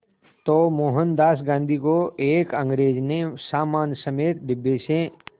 तो मोहनदास गांधी को एक अंग्रेज़ ने सामान समेत डिब्बे से